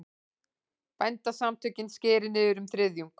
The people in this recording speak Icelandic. Bændasamtökin skeri niður um þriðjung